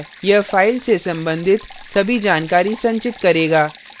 यह फाइल से संबंधित सभी जानकारी संचित करेगा